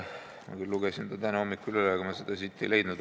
Ma küll lugesin ta täna hommikul üle, kuid seda ma siit ei leidnud.